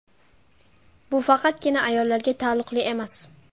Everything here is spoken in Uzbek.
Bu faqatgina ayollarga taalluqli emas.